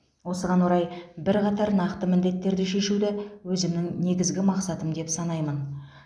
осыған орай бірқатар нақты міндеттерді шешуді өзімнің негізгі мақсатым деп санаймын